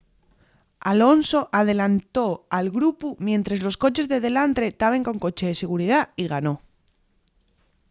alonso adelantó al grupu mientres los coches de delantre taben con coche de seguridá y ganó